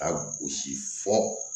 Ka gosi fɔ